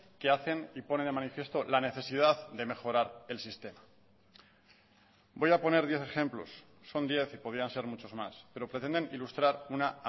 que hacen y pone de manifiesto la necesidad de mejorar el sistema voy a poner diez ejemplos son diez y podían ser muchos más pero pretenden ilustrar una